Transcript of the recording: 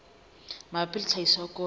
mabapi le tlhahiso ya koro